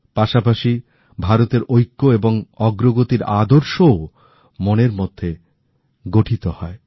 পাশাপাশি ভারতের ঐক্য এবং অগ্রগতিরআদর্শও মনের মধ্যে গঠিত হয়